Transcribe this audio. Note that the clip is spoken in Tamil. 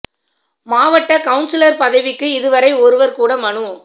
மாவட்ட கவுனசிலர் பதவிக்கு இதுவரை ஒருவர் கூட மனு